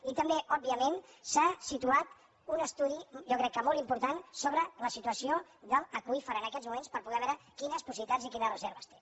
i també òbviament s’ha situat un estudi jo crec que molt important sobre la situació de l’aqüífer en aquests moments per poder veure quines possibilitats i quines reserves té